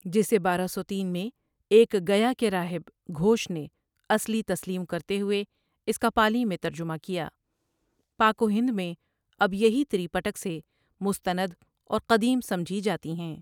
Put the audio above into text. جسے بارہ سو تین ؁میں ایک گیا کے راہب گھوش نے اصلی تسلیم کرتے ہوئے اس کا پالی میں ترجمہ کیا پاک وہند میں اب یہی تری پٹک سے مستند اور قدیم سمجھی جاتی ہیں۔